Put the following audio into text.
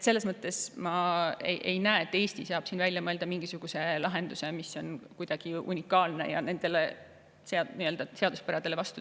Selles mõttes ei näe ma, et Eesti saab siin välja mõelda mingisuguse lahenduse, mis oleks kuidagi unikaalne ja töötaks nendele seaduspäradele vastu.